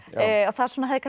það svona hefði